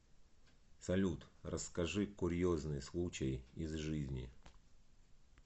салют расскажи курьезный случай из жизни